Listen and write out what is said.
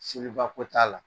Seliba ko t'a la.